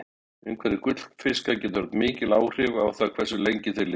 Umhverfi gullfiska getur haft mikil áhrif á það hversu lengi þeir lifa.